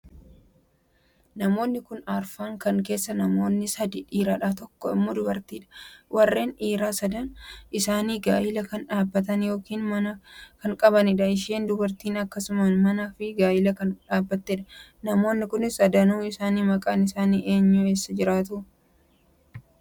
Namoonni kun arfan kan keessaa namoonni sadii dhiiradha. tokkoo immoo dubartiidha warroonni dhiiraa sadan isaanii gaa'ela kan dhaabbatan ykn mana kan qabaniidha isheen dubartiinis akkasuma mana ykn gaa'ela kan dhaabbateedha. Namoonni kun sadanun isaanii maqaan isaanii eenyudha? Eessa jiraatu?